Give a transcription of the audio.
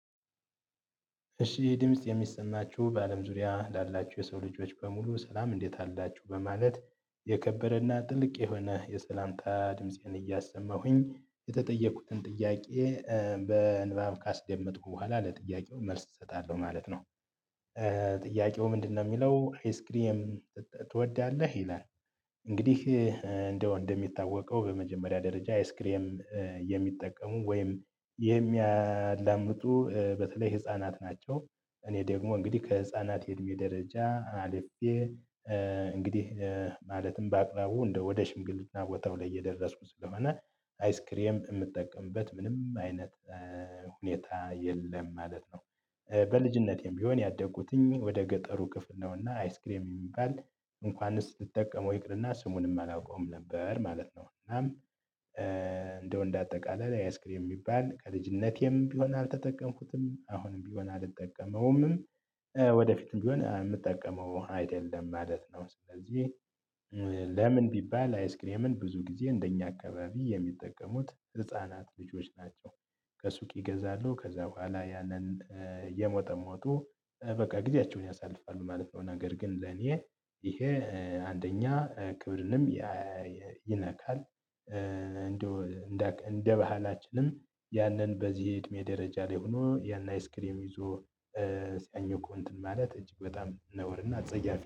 እሺ ድምጽ የሚሰማችሁ በአለም ዙሪያ ላላችሁ የሰው ልጆች በሙሉ ሰላም እንዴት አላችሁ በማለት የከበረና ጥልቅ የሆነ የሰላምታ ድምፄን እያሰማሁኝ የተጠየኩትን ጥያቄ። በንባብ ካስደመጥኩ በኋላ ለጥያቄው መልስ እሰጣለሁ ማለት ነው። ጥያቄው ምንድነው የሚለው አይስክሬም ትወዳለህ ይላል። እንግዲህ እንደው እንደሚታወቀው በመጀመሪያ ደረጃ አይስክሬም የሚጠቀሙ ወይም የሚያላምጡ በተለይ ህፃናት ናቸው። እኔ ደግሞ እንግዲህ ከህፃናት የእድሜ ደረጃ አልፌ እንግዲህ ማለትም በአቅራቡ እንደ ወደ ሽምግልና ቦታው ላይ እየደረስኩ ስለሆነ አይስክሬም የምጠቀምበት ምንም አይነት ሁኔታ የለም ማለት ነው። በልጅነቴም ቢሆን ያደጉትኝ ወደ ገጠሩ ክፍል ነውና አይስክሬም የሚባል እንኳንስ ስትጠቀመው ይቅርና ስሙንም አላውቀውም ነበር ማለት ነው። እናም እንደው እንደ አጠቃላይ አይስክሬም የሚባል ከልጅነቴም ቢሆን አልተጠቀምኩትም አሁንም ቢሆን አልጠቀመውም። ወደፊትም ቢሆን የምጠቀመው አይደለም ማለት ነው። ስለዚህ ለምን ቢባል አይስክሬምን ብዙ ጊዜ እንደኛ አካባቢ የሚጠቀሙት ህፃናት ልጆች ናቸው። ከሱቅ ይገዛሉ ከዛ በኋላ ያንን እየሞጠሞጡ በቃ ጊዜያቸውን ያሳልፋሉ ማለት ነው። ነገር ግን ለኔ ይሄ አንደኛ ክብርንም ይነካል። እንደው እንደ ባህላችንም ያንን በዚህ እድሜ ደረጃ ላይ ሆኖ ያን አይስክሬም ይዞ ሲያኝኩ እንትን ማለት እጅግ በጣም ነውርና አጸያፊ